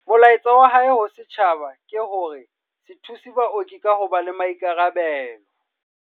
Molaetsa wa hae ho setjhaba ke hore se thuse baoki ka ho ba le maikarabelo.